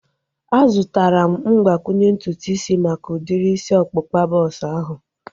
A zụtara m mgbakwunye ntutu isi maka udiri isi ọkpụkpa bọks ahu